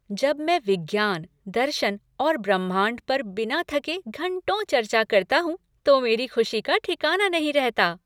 जब मैं विज्ञान, दर्शन और ब्रह्मांड पर बिना थके घंटों चर्चा करता हूँ तो मेरी खुशी का ठिकाना नहीं रहता।